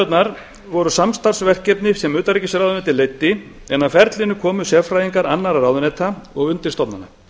fríverslunarviðræðurnar voru samstarfsverkefni sem utanríkisráðuneytið leiddi en að ferlinu komu sérfræðingar annarra ráðuneyta og undirstofnana